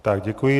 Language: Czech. Tak děkuji.